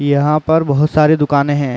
यहाँ पर बहोत सारी दुकाने हैं।